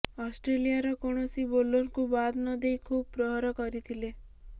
ଅଷ୍ଟ୍ରେଲିଆର କୌଣସ ବୋଲରଙ୍କୁ ବାଦ୍ ନଦେଇ ଖୁବ୍ ପ୍ରହାର କରିଥିଲେ